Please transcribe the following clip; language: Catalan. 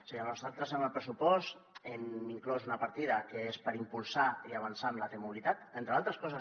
és a dir nosaltres en el pressupost hem inclòs una partida que és per impulsar i avançar en la t mobilitat entre altres coses